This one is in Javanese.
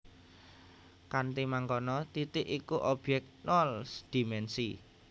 Kanthi mangkono titik iku objèk nol dimènsi